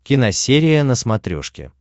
киносерия на смотрешке